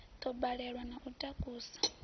ḓo balelwa na u takusa